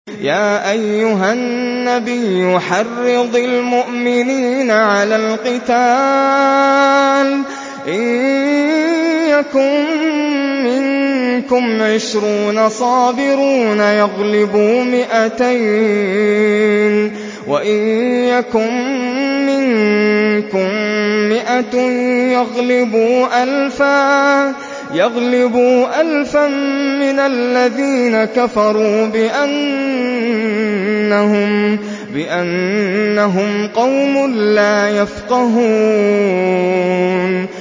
يَا أَيُّهَا النَّبِيُّ حَرِّضِ الْمُؤْمِنِينَ عَلَى الْقِتَالِ ۚ إِن يَكُن مِّنكُمْ عِشْرُونَ صَابِرُونَ يَغْلِبُوا مِائَتَيْنِ ۚ وَإِن يَكُن مِّنكُم مِّائَةٌ يَغْلِبُوا أَلْفًا مِّنَ الَّذِينَ كَفَرُوا بِأَنَّهُمْ قَوْمٌ لَّا يَفْقَهُونَ